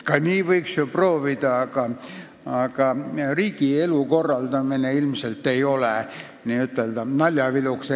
Ka nii võiks ju proovida, aga riigi elu ei tule ilmselt n-ö naljaviluks korraldada.